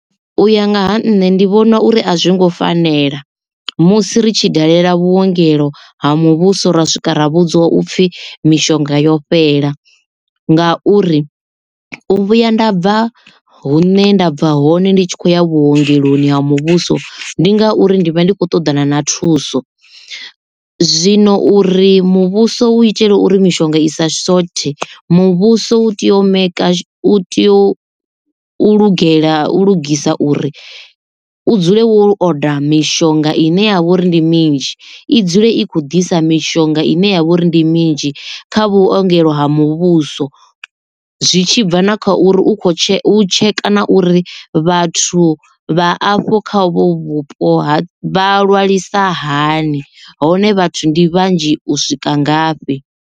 U ya nga ha nṋe ndi vhona uri a zwi ngo fanela musi ri tshi dalela vhuongelo ha muvhuso ra swika ra vhudziwa upfhi mishonga yo fhela, ngauri u vhuya nda bva hune nda bva hone ndi tshi kho ya vhuongeloni ha muvhuso ndi ngauri ndi vha ndi khou ṱoḓana na thuso zwino uri muvhuso u itele uri mishonga i sa shothe muvhuso u tea u maker u tea u u lugela u lugisa uri u dzule wo oda mishonga ine ya vha uri ndi minzhi i dzule i kho disa mishonga ine ya vha uri ndi minzhi kha vhuongelo ha muvhuso. zwi tshi bva na kha uri u kho tsheka na uri vhathu vhathu vha afho kha uvho vhupo vha lwalisa hani hone vhathu ndi vhanzhi u swika ngafhi.